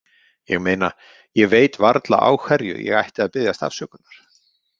ég meina, ég veit varla á hverju ég ætti að biðjast afsökunar.